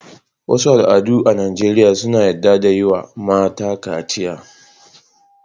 Wasu al'adu a Najeriya sun yarda da yi wa mata kaciya.